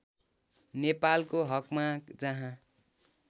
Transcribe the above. नेपालको हकमा जहाँ